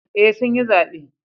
Eh sun yi zabe